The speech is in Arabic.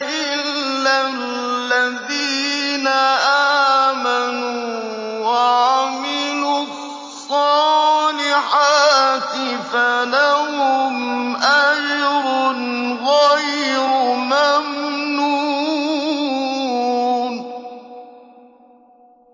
إِلَّا الَّذِينَ آمَنُوا وَعَمِلُوا الصَّالِحَاتِ فَلَهُمْ أَجْرٌ غَيْرُ مَمْنُونٍ